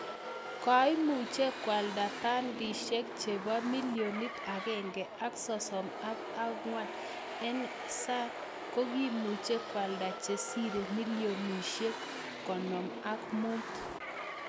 Koimuch koaldaa pendisiek cheboo milionit agenge ak sosom ak angot NSync kokimuuch koaldaa chesiree milionisiek konom ak muut